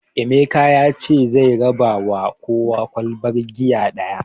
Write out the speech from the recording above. Emeka yace gobe zai raba ma kowa ƙwalban giya ɗaya